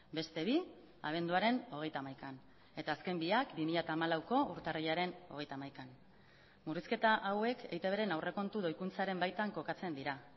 beste bi abenduaren hogeita hamaikaan eta azken biak bi mila hamalauko urtarrilaren hogeita hamaikaan murrizketa hauek eitbren aurrekontu doikuntzaren baitan kokatzen dira